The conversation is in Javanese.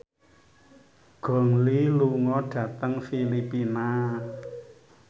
Gong Li lunga dhateng Filipina